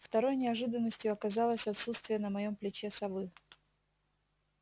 второй неожиданностью оказалось отсутствие на моем плече совы